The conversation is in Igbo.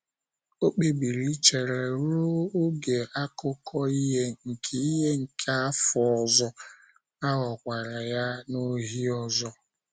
O kpebiri ichere ruo oge akụkụ ihe nke ihe nke afọ ọzọ, a ghọkwara ya n’ohi ọzọ.